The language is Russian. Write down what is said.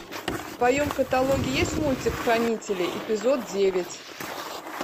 в твоем каталоге есть мультик хранители эпизод девять